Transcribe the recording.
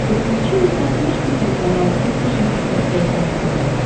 подключи на смотрешке телеканал триста шестьдесят пять дней тв